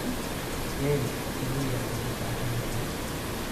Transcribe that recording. Geelu biyo yar buu u baahan yahay.